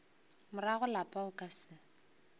morago lapa o ka se